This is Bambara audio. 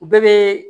U bɛɛ bɛ